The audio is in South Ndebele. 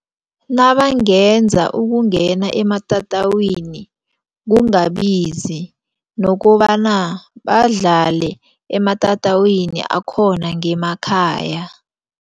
Nabangenza ukungena ematatawini kungabizi nokobana badlale ematatawini akhona ngemakhaya.